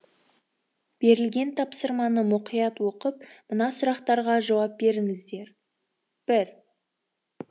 берілген тапсырманы мұқият оқып мына сұрақтарға жауап беріңіздер бір